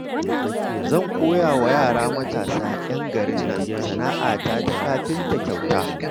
Zan koya wa yara matasa, 'yan garin nan sana'ata ta kafinta kyauta